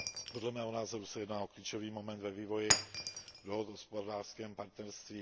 Podle mého názoru se jedná o klíčový moment ve vývoji dohod o hospodářském partnerství.